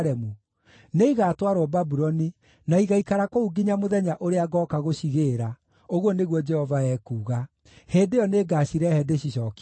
‘Nĩigatwarwo Babuloni, na igaikara kũu nginya mũthenya ũrĩa ngooka gũcigĩĩra,’ ũguo nĩguo Jehova ekuuga. ‘Hĩndĩ ĩyo nĩngacirehe ndĩcicookie gũkũ.’ ”